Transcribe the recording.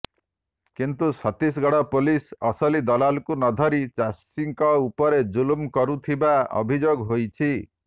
କିନ୍ତୁ ଛତିଶଗଡ ପୋଲିସ ଅସଲି ଦଲାଲକୁ ନଧରି ଚାଷୀଙ୍କ ଉପରେ ଜୁଲମ କରୁଥିବା ଅଭିଯୋଗ ହୋଇଛି